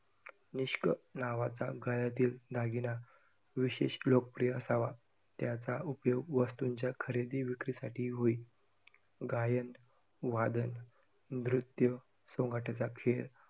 निष्क नावाचा गळ्यातील दागिना विशेष लोकप्रिय असावा, त्याचा उपयोग वस्तूंच्या खरेदी विक्रीसाठी होई. गायन, वादन, नृत्य, सोंगट्याचा खेळ